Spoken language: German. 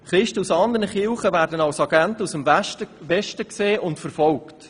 » Christen aus anderen Kirchen werden als Agenten aus dem Westen gesehen und verfolgt.